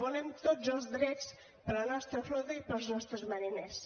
volem tots els drets per a la nostra flota i per als nostres mariners